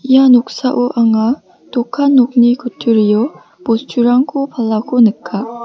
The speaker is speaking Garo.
ia noksao anga dokan nokni kutturio bosturangko palako nika.